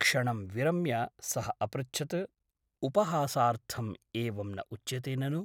क्षणं विरम्य सः अपृच्छत् उपहासार्थम् एवं न उच्यते ननु ?